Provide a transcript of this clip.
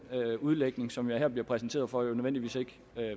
udlægning som jeg her bliver præsenteret for jo nødvendigvis ikke